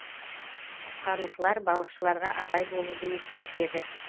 құтқарушылар балықшыларға абай болуды ескертеді